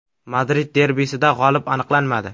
Madrid derbisida g‘olib aniqlanmadi.